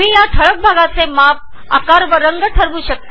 या ठळक भागाचे आकार माप व रंग ठरवू शकता